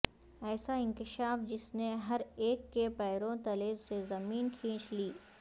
ایسا انکشاف جس نے ہر ایک کے پیروں تلے سے زمین کھینچ لی